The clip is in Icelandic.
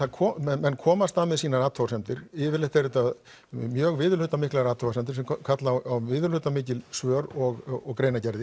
menn koma fram með sínar athugasemdir yfirleitt eru þetta mjög viðurhlutamiklar athugasemdir sem kalla á viðurhlutamikil svör og